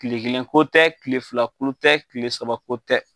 kile kelenko tɛ kile filako tɛ kile sabako tɛ.